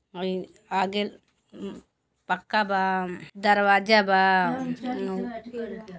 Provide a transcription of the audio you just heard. हइ आगे म पक्का बा दरवाजा बा फेनु